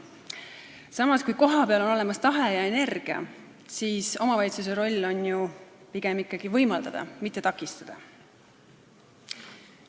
Samas, kui kohapeal on olemas tahe ja energia, siis on omavalitsuse roll ju pigem ikkagi võimaldada, mitte takistada.